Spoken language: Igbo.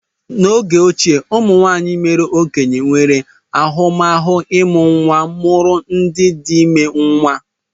N'oge ochie, ụmụnwaanyị mère okenye nwere ahụmahụ ịmụ nwa mụrụ ndị dị ime nwa.